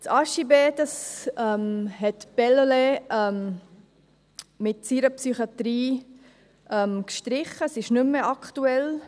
Das HJB hat Bellelay mit seiner Psychiatrie gestrichen, es ist nicht mehr aktuell.